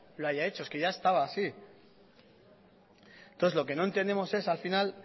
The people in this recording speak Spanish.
lo haya hecho es que ya estaba así entonces lo que no entendemos es al final